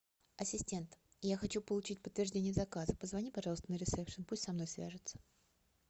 ассистент я хочу получить подтверждение заказа позвони пожалуйста на ресепшн пусть со мной свяжутся